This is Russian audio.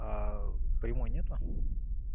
аа прямой нет